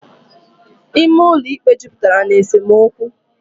Ime ụlọ ikpe jupụtara na esemokwu.